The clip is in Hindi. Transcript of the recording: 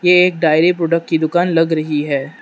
ये एक डायरी प्रोडक्ट की दुकान लग रही है।